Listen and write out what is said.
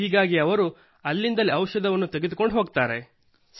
ಹೀಗಾಗಿ ಅವರು ಅಲ್ಲಿಂದಲೇ ಔಷಧವನ್ನೂ ತೆಗೆದುಕೊಂಡು ಹೋಗುತ್ತಾರೆ